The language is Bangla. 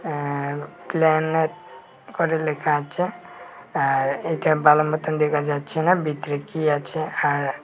আঃ প্লানেট করে লেখা আছে আর এইটা ভালো মতন দেখা যাচ্ছে না ভেতরে কী আছে আর--